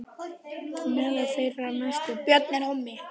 Meðal þeirra stærstu eru